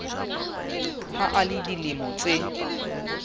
ha a le dilemo tse